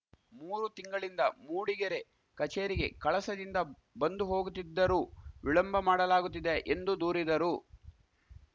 ಮೂರು ತಿಂಗಳಿಂದ ಮೂಡಿಗೆರೆ ಕಚೇರಿಗೆ ಕಳಸದಿಂದ ಬಂದುಹೋಗುತ್ತಿದ್ದರೂ ವಿಳಂಬ ಮಾಡಲಾಗುತ್ತಿದೆ ಎಂದು ದೂರಿದರು